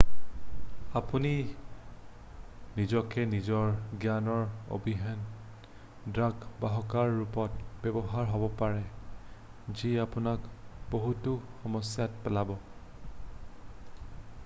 আপুনি নিজকে নিজৰ জ্ঞানৰ অবিহনে ড্ৰাগ বাহকৰ ৰূপত ব্যৱহাৰ হব পাৰে যি আপোনাক বহুতো সমস্যাত পেলাব ।